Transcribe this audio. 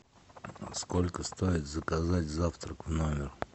сколько стоит заказать завтрак в номер